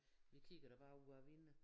Vi kigger da bare ud af æ vinne